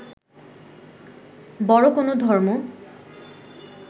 বড় কোন ধর্ম